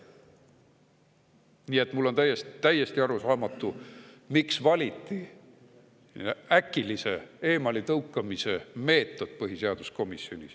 Nii et mulle on täiesti arusaamatu, miks valiti põhiseaduskomisjonis äkilise eemaletõukamise meetod.